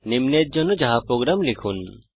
নিম্নের জন্য Java program লিখুন